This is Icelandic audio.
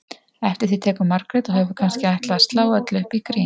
Eftir því tekur Margrét og hefur kannski ætlað að slá öllu upp í grín